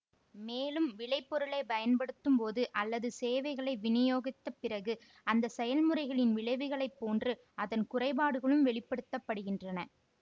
மேலும் விளைபொருளைப் பயன்படுத்தும் போது அல்லது சேவைகளை விநியோகித்த பிறகு அந்த செயல்முறைகளின் விளைவுகளை போன்று அதன் குறைபாடுகளும் வெளிப்படுத்த படுகின்றன